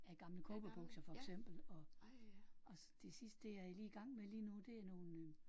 Af gamle cowboybukser for eksempel og og det det jeg er i lige i gang med lige nu det er nogle